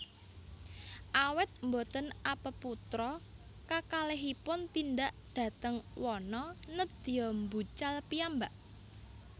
Awit boten apeputra kakalihipun tindak dhateng wana nédya mbucal piyambak